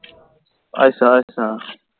ਅਸ਼ਾ ਅਸ਼ਾ